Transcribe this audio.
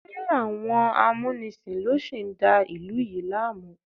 Ṣé àwọn amúnisìn ló sì ń da ìlú yìí láàmú?